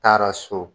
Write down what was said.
Taara so